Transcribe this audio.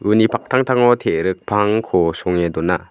uni paktangtango te·rik pangko songe dona.